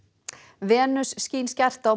Venus skín skært á